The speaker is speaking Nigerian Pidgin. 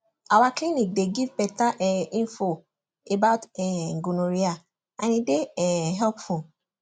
our clinic dey give better um info about um gonorrhea and e dey um helpful